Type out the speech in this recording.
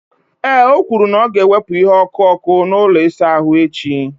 Ee, o kwuru na ya ga-ewepụ ihe ọkụ ọkụ na ụlọ ịsa ahụ echi.